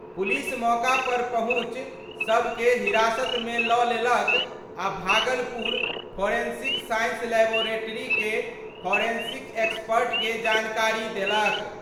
Police मौका पर पहुंचि शव के हिरासत मे ल' लेलक आ भागलपुर फोरेंसिक साइंस लैबोरेटरी के फोरेंसिक एक्सपर्ट के जानकारी देलक।